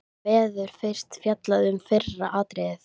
Verður fyrst fjallað um fyrra atriðið.